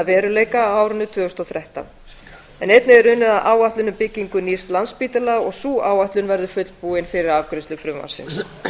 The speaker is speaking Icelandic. veruleika á árinu tvö þúsund og þrettán einnig er unnið að áætlun um byggingu nýs landspítala sú áætlun verður fullbúin fyrir afgreiðslu frumvarpsins